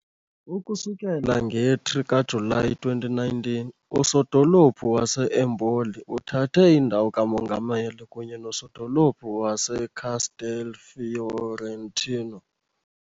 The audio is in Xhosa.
Ukusukela nge-3 kaJulayi 2019, usodolophu wase-Empoli uthathe indawo kamongameli kunye nosodolophu waseCastelfiorentino.